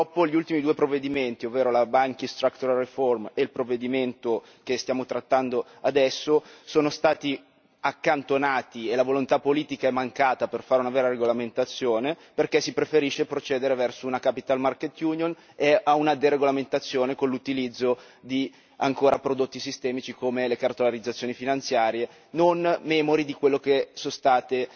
Purtroppo gli ultimi due provvedimenti, ovvero la Banking Structural Reform e il provvedimento che stiamo trattando adesso, sono stati accantonati ed è mancata la volontà politica di fare una vera regolamentazione, perché si preferisce procedere verso una Capital Market Union e una deregolamentazione con l'utilizzo ancora di prodotti sistemici, come le cartolarizzazioni finanziarie, non memori di quelle che sono state